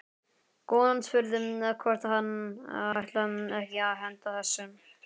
Konan spurði hvort hann ætlaði ekki að henda þessu.